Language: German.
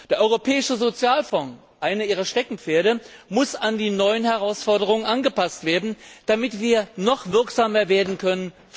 Der Europäische Sozialfonds eines Ihrer Steckenpferde muss an die neuen Herausforderungen angepasst werden, damit wir vor Ort noch wirksamer werden können.